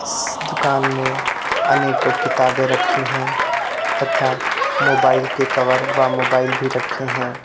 इस दुकान में अनेकों किताबें रखी हैं तथा मोबाइल के कवर व मोबाइल भी रखे हैं।